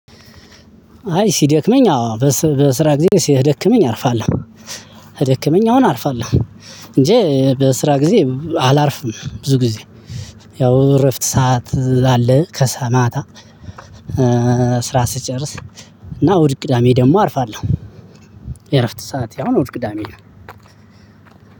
አይ ሲደክመኝ አዎ በስራ ጊዜ ሲደክመኝ አርፋለው። ከደክመኝ አሁን አርፋለሁ። እንጂ በስራ ጊዜ አላርፍም ብዙ ጊዜ። ያው እረፍት ሰዓት አለ ማታ። ስራ ስጨርስ። እና እሁድ ቅዳሜ ደግሞ አርፋለሁ። የእረፍት ሰዓት አሁን እሁድ ቅዳሜ ነው።